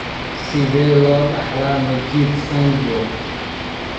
Sidee loo dhaxlaa Majeed syndrome?